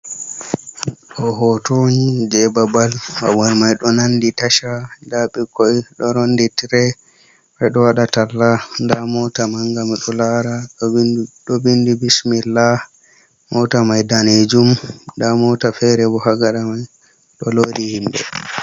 Ɗo hooto ni jey babal, babal may ɗo nanndi taca. Ndaa ɓikkoy ɗo roondi tire, ɗo waɗa talla. Nda moota mannga, ɗo laara ɗo binndi bismilla. Moota may daneejum, ndaa moota feere bo haa gaɗa may ɗo loodi himɓe.